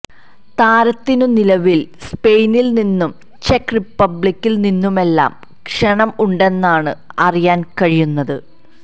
താരത്തിനു നിലവിൽ സ്പെയിനില് നിന്നും ചെക്ക് റിപ്പബ്ലിക്കിൽ നിന്നുമെല്ലാം ക്ഷണം ഉണ്ടെന്നാണ് അറിയാൻ കഴിയുന്നത്